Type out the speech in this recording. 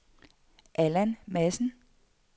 Allan Madsen